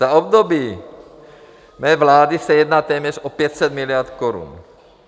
Za období mé vlády se jedná téměř o 500 miliard korun.